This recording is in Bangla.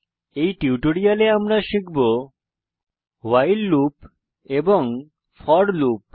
এই টিউটোরিয়ালে আমরা শিখব ভাইল লুপ এবং ফোর লুপ